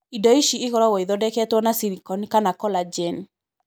Indo ici ikoragwo ithondeketwo nĩ silicone kana collagen.